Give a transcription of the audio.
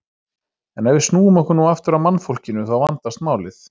En ef við snúum okkur nú aftur að mannfólkinu þá vandast málið.